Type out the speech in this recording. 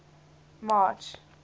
march